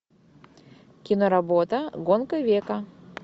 киноработа гонка века